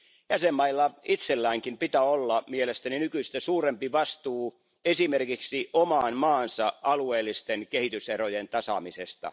Jäsenvaltioilla itselläänkin pitää olla mielestäni nykyistä suurempi vastuu esimerkiksi oman maansa alueellisten kehityserojen tasaamisesta.